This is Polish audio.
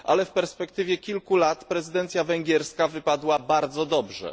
Ale w perspektywie kilku lat prezydencja węgierska wypadła bardzo dobrze.